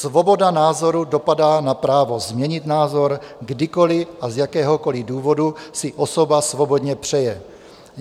Svoboda názoru dopadá na právo změnit názor, kdykoli a z jakéhokoli důvodu si osoba svobodně přeje.